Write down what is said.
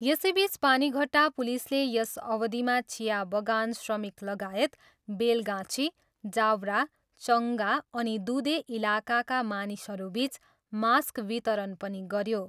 यसैबिच पानीघट्टा पुलिसले यस अवधिमा चिया बगान श्रमिकलगायत बेलगाछी, जावरा, चङ्गा अनिदुधे इलकाका मानिसहरूबिच मास्क वितरण पनि गऱ्यो।